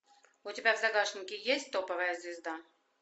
у тебя в загашнике есть топовая звезда